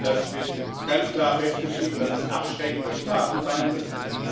Das wird ganz klar festgeschrieben, dass es abschreckende Strafen sein müssen.